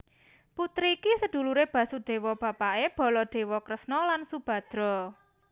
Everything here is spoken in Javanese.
Putri iki seduluré Basudéwa bapaké Baladéwa Kresna lan Subadra